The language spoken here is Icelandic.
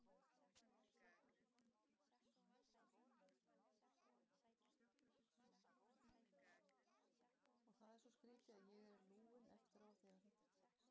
Og það er svo skrítið, að ég er lúinn eftir á þegar þetta gerist.